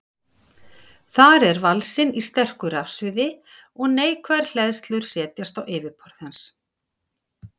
Þar er valsinn í sterku rafsviði og neikvæðar hleðslur setjast á yfirborð hans.